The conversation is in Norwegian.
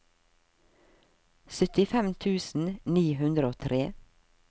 syttifem tusen ni hundre og tre